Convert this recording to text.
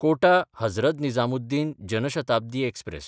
कोटा–हजरत Nizamuddin Jan Shatabdi express